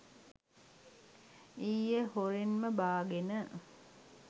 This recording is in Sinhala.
ඊයේ හොරෙන්ම බාගෙන